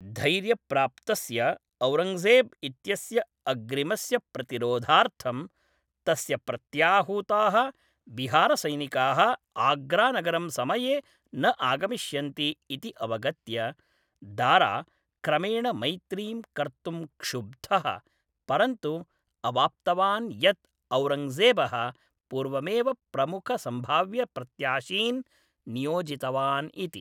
धैर्यप्राप्तस्य औरङ्गजेब् इत्यस्य अग्रिमस्य प्रतिरोधार्थं, तस्य प्रत्याहूताः बिहारसैनिकाः आग्रानगरं समये न आगमिष्यन्ति इति अवगत्य, दारा क्रमेण मैत्रीं कर्तुं क्षुब्धः, परन्तु अवाप्तवान् यत् औरङ्गजेबः पूर्वमेव प्रमुखसंभाव्यप्रत्याशीन् नियोजितवान् इति।